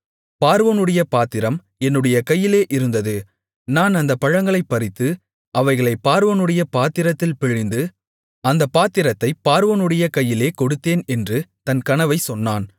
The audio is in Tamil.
பார்வோனுடைய பாத்திரம் என்னுடைய கையிலே இருந்தது நான் அந்தப் பழங்களைப் பறித்து அவைகளைப் பார்வோனுடைய பாத்திரத்தில் பிழிந்து அந்தப் பாத்திரத்தைப் பார்வோனுடைய கையிலே கொடுத்தேன் என்று தன் கனவைச் சொன்னான்